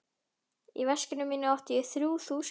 Í veskinu mínu átti ég þrjú þúsund krónur.